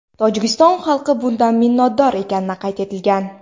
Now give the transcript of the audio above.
Tojikiston xalqi bundan minnatdor ekanini qayd etilgan.